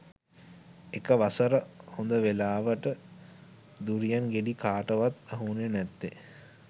එක වසර හොද වෙලාවට දුරියන් ගෙඩි කාටවත් අහුවුනේ නැත්තේ